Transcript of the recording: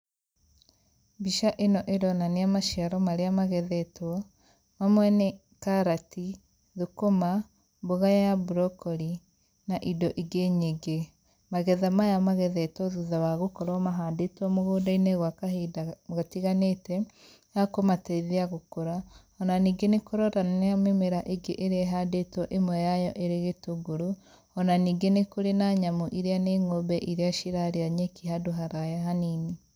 Mbica ĩno ĩroania maciaro marĩa magethetwo, mamwe nĩ karati , thũkũma, mbũga ya brokori na indo ingĩ nyingĩ. Magetha maya magethetwo thutha wa gũkorwo mahandĩtwo mũgũndainĩ gwa kahinda gatiganĩte ga kũmateithia gũkũra, ona ningĩ nĩ kũronania mĩmera ĩngĩ ĩrĩa ĩhandĩtwo ĩmwe yayo ĩrĩ gĩtũngũrũ, ona ningĩ nĩ kũrĩ na nyamũ iria nĩ ng'ombe irĩa cirarĩa nyeki handũ haraya hanini.